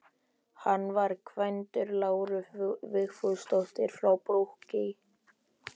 Hann var kvæntur Láru Vigfúsdóttur frá Brokey.